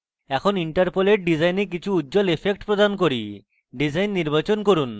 এখন interpolate ডিসাইনে কিছু উজ্জল effect প্রদান করি ডিসাইন নির্বাচন করুন